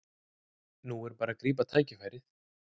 Nú er bara að grípa tækifærið